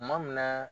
Kuma min na